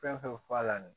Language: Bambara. Fɛn fɛn bɛ f'a la de